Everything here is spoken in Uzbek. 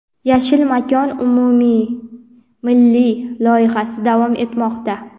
"Yashil makon" umummilliy loyihasi davom etmoqda.